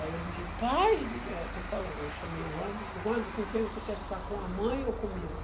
Aí eles me digo, pai, eu digo, eh, estou falando, eu chamei o Anderson, digo, Anderson, com quem você quer ficar, com a mãe ou comigo?